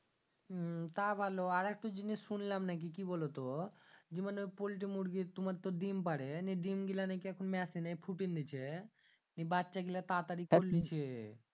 হুম তা ভালো আরেক তো জিনিস শুনলাম নাকি কি বোলো তো জি পোল্টি মুরগি তোমার তো ডিম্ পারে নিয়ে ডিম্ গিলানে কি এখন মেশিনে ফুটিং দিচ্ছে নিন বাচ্চা গীলা তারা তারি দিচ্ছে